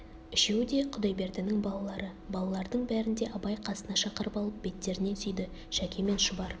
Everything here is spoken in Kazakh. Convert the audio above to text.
үшеуі де құдайбердінің балалары балалардың бәрін де абай қасына шақырып алып беттерінен сүйді шәке мен шұбар